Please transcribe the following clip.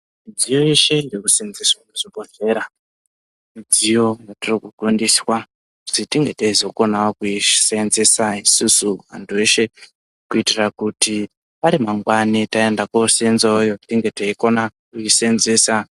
Midziyo yeshe inoseenzeswa kuzvibhedhlera midziyo yatiri kufundiswa kuti tinge teizokona kuseenzesa isusu antu eshe kuitira kuti ari mangwani taenda koseenzerawoyo tizokona kuiseenzesa.